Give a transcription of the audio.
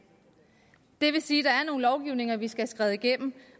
det vil sige at der er nogle lovgivninger vi skal have skrevet igennem